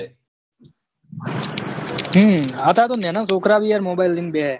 હમ અતાર તો નેના છોકરા ભી યાર mobile લઈને બેહે